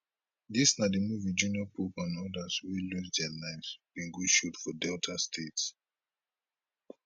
dis na di movie junior pope and odas wey lose dia lives bin go shoot for delta state